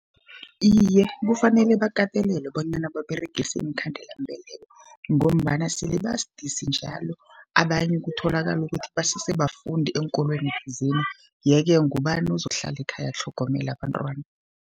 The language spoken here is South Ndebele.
Iye, kufanele bakatelelwe bonyana baberegise iinkhandelambeleko, ngombana sele basidisi njalo abanye kutholakala ukuthi basese bafundi eenkolweni thizeni. Ye-ke ngubani ozokuhlala ekhaya atlhogomele abantwana.